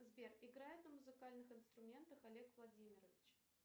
сбер играет на музыкальных инструментах олег владимирович